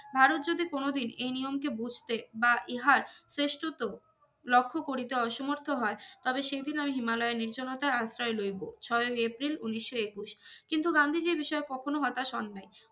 ভারত যদি কোনো দিন এই নিয়মকে বুঝতে বা ইহার শ্রেষ্ঠত্ব লক্ষ্য করিতে অসমর্থ হয় তবে সেই দিন আমি হিমালয়ের নির্জনতায় আশ্রয় লইব স্বয়ং এপ্রিল উনিস্য একুশ কিন্তু গান্ধীজির বিষয়ে কখনো হতাশ হোন নাই